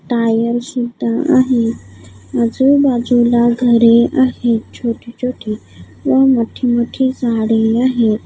Tyre सुद्धा आहे आजूबाजूला घरे आहे छोटी-छोटी व मोठी-मोठी झाडे आहे.